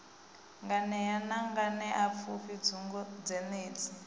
nganea na nganeapfufhi bugu dzenedzi